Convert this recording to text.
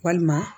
Walima